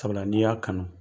Sabula n'i y'a kanu.